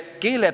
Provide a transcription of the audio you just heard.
Miks?